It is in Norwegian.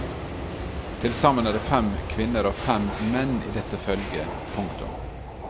Til sammen er det fem kvinner og fem menn i dette følget. punktum